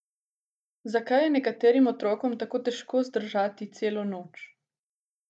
Zakaj je nekaterim otrokom tako težko zdržati celo noč?